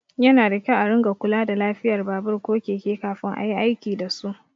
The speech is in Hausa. Yana da kyau a ringa kula da lafiyar babur ko keke kafin ayi aiki dasu.